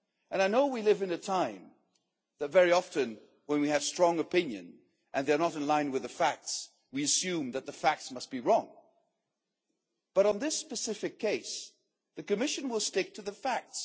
I know we live in a time when very often, when we have strong opinions and they are not in line with the facts, we assume that the facts must be wrong but, on this specific case, the Commission will stick to the facts.